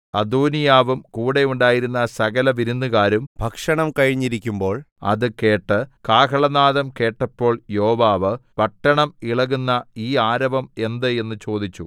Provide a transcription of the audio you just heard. അദോനീയാവും കൂടെ ഉണ്ടായിരുന്ന സകല വിരുന്നുകാരും ഭക്ഷണം കഴിഞ്ഞിരിക്കുമ്പോൾ അത് കേട്ടു കാഹളനാദം കേട്ടപ്പോൾ യോവാബ് പട്ടണം ഇളക്കുന്ന ഈ ആരവം എന്ത് എന്ന് ചോദിച്ചു